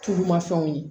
Tulumafɛnw ye